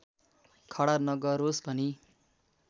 खडा नगरोस् भनी